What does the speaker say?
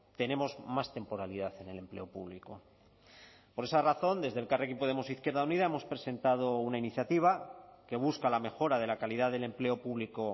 tenemos más temporalidad en el empleo público por esa razón desde elkarrekin podemos izquierda unida hemos presentado una iniciativa que busca la mejora de la calidad del empleo público